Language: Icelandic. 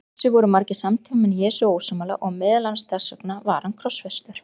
Þessu voru margir samtímamenn Jesú ósammála og meðal annars þess vegna var hann krossfestur.